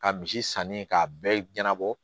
Ka misi sanni k'a bɛɛ ɲɛnabɔ